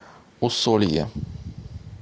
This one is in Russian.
усолье